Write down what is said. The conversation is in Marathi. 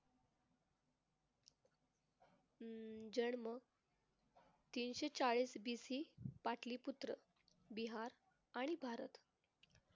अं जन्म तीनशे चाळीस बीसी पाटलीपुत्र बिहार आणि भारत